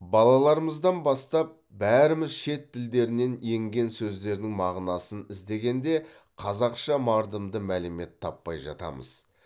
балаларымыздан бастап бәріміз шет тілдерінен енген сөздердің мағынасын іздегенде қазақша мардымды мәлімет таппай жатамыз